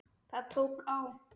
Það tók á.